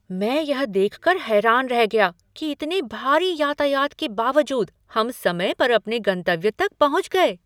मैं यह देखकर हैरान रह गया कि इतने भारी यातायात के बावजूद हम समय पर अपने गंतव्य तक पहुँच गए!"